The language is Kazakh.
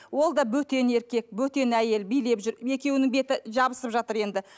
ол да бөтен еркек бөтен әйел билеп жүр екеуінің беті жабысып жатыр енді